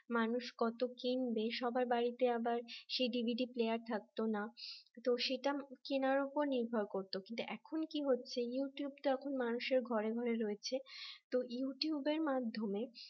মানুষ কত কিনবে সবার বাড়িতে আবার সেই ডিভিডি প্লেয়ার থাকতো না তো সেটা কেনার উপর নির্ভর করত কিন্তু এখন কি হচ্ছে ইউটিউব তখন মানুষের ঘরে ঘরে রয়েছে তো ইউটিউব এর মাধ্যমে